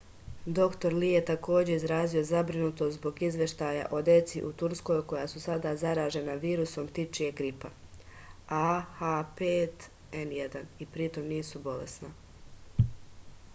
др ли је такође изразио забринутост због извештаја о деци у турској која су сада заражена вирусом птичијег грипа аh5n1 и притом нису болесна